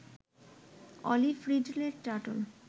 olive ridley turtle